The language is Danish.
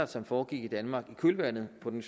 som foregik i danmark i kølvandet på den